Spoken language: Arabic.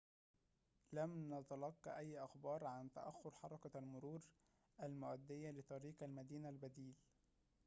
لم نتلق أي أخبار عن تأخر حركة المرور المؤدية لطريق المدينة البديل